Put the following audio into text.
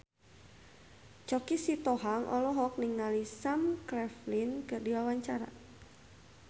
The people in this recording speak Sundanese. Choky Sitohang olohok ningali Sam Claflin keur diwawancara